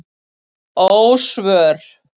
Ósvör